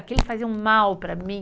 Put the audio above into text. Aquilo fazia um mal para mim.